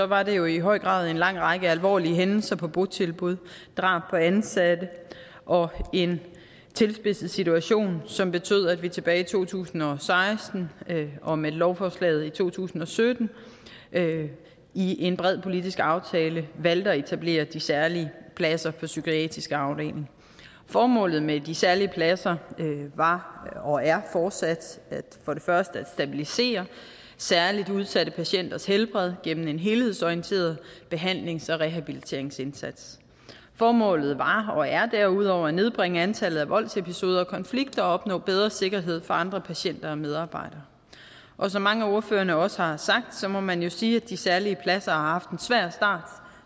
var det jo i høj grad en lang række alvorlige hændelser på botilbud drab på ansatte og en tilspidset situation som betød at vi tilbage i to tusind og seksten og med lovforslaget i to tusind og sytten i en bred politisk aftale valgte at etablere de særlige pladser på psykiatriske afdelinger formålet med de særlige pladser var og er fortsat for det første at stabilisere særlig udsatte patienters helbred gennem en helhedsorienteret behandlings og rehabiliteringsindsats formålet var og er derudover at nedbringe antallet af voldsepisoder og konflikter og opnå bedre sikkerhed for andre patienter og medarbejdere og som mange af ordførerne også har sagt må man jo sige at de særlige pladser har haft en svær start